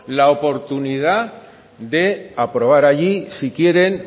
la oportunidad de aprobar allí si quieren